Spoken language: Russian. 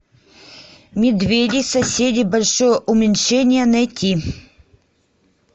медведи соседи большое уменьшение найти